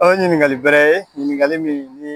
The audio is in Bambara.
O ye ɲininkali bɛrɛ ye ɲininkali min ni